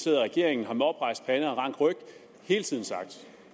i regeringen har med oprejst pande og rank ryg hele tiden sagt